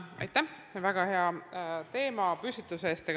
Aitäh väga hea teemapüstituse eest!